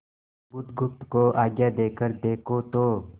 बुधगुप्त को आज्ञा देकर देखो तो